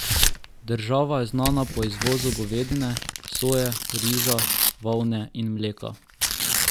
Država je znana po izvozu govedine, soje, riža, volne in mleka.